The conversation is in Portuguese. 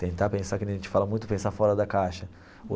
Tentar pensar, que nem a gente fala muito, pensar fora da caixa.